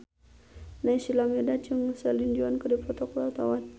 Naysila Mirdad jeung Celine Dion keur dipoto ku wartawan